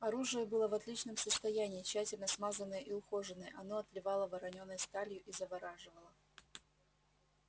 оружие было в отличном состоянии тщательно смазанное и ухоженное оно отливало воронёной сталью и завораживало